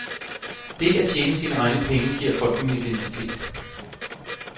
Det at tjene sine egne penge giver folk en identitet.